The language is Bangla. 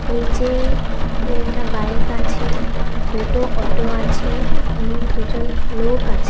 নীচে তিনটা বাইক আছে দুটো অটো আছে এবং দুজন লোক আছে।